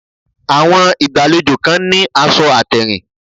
Àwọn ìgbàlejò kan ní aṣọ àtèrìn